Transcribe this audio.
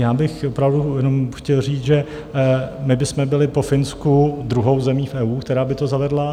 Já bych opravdu jenom chtěl říct, že my bychom byli po Finsku druhou zemí v EU, která by to zavedla.